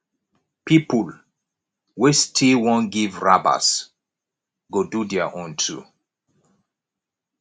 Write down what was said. pipol wey still wan giv rabas go do their own too